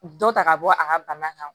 Dɔ ta ka bɔ a ka bana kan